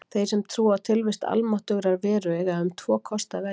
Þeir sem trúa á tilvist almáttugrar veru eiga um tvo kosti að velja.